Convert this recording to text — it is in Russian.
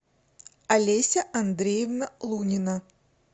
олеся андреевна лунина